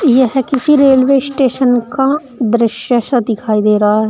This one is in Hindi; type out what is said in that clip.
यह किसी रेलवे स्टेशन का दृश्य सा दिखाई दे रहा है।